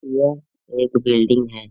यह एक बिल्डिंग है।